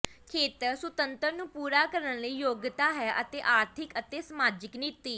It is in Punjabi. ਖੇਤਰ ਸੁਤੰਤਰ ਨੂੰ ਪੂਰਾ ਕਰਨ ਲਈ ਯੋਗਤਾ ਹੈ ਆਰਥਿਕ ਅਤੇ ਸਮਾਜਿਕ ਨੀਤੀ